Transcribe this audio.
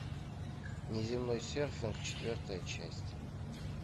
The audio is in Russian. неземной серфинг четвертая часть